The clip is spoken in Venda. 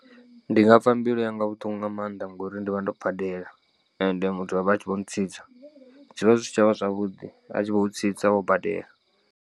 Ndi nga pfa mbilu yanga vhuṱungu nga maanḓa ngori ndivha ndo badela ende muthu avha a tshi vho ntsitsa zwivha zwi si tshavha zwavhuḓi a tshi vho u tsitsa wo badela.